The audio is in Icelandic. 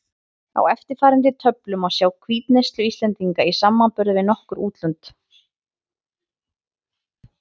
Á eftirfarandi töflu má sjá hvítuneyslu Íslendinga í samanburði við nokkur útlönd.